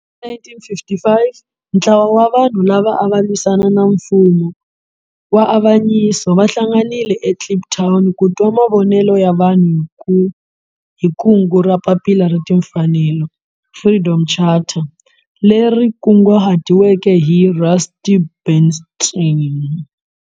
Hi 1955 ntlawa wa vanhu lava ava lwisana na nfumo wa avanyiso va hlanganile eKliptown ku twa mavonelo ya vanhu hi kungu ra Papila ra Timfanelo, Freedom Charter leri kunguhatiweke hi Rusty Bernstein.